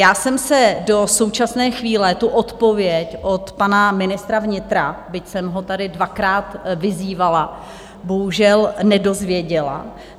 Já jsem se do současné chvíle tu odpověď od pana ministra vnitra, byť jsem ho tady dvakrát vyzývala, bohužel nedozvěděla.